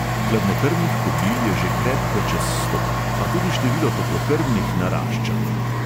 Hladnokrvnih kobil je že krepko čez sto, a tudi število toplokrvnih narašča.